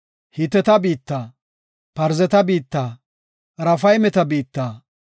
Hiteta biitta, Parzeta biitta, Raafaymeta biitta,